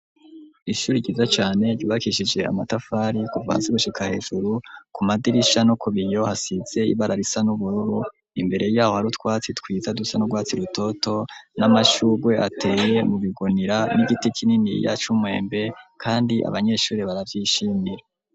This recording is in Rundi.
Ishuri ryiza cane, ryubakishije amatafari, kuva hasi, gushika hejuru; ku madirisha, no kubiyo, hasize ibara, risa n'ubururu; imbere y'aho, hari utwatsi twiza, dusa n'urwatsi rutoto, n'amashurwe, ateye mu bigunira, n'igiti kininiya c'umwembe, kandi abanyeshuri, baravyishimira.